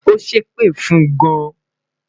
o sepe fun gan